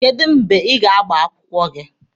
Kedụ mgbe ị ga-agba akwụkwọ gị?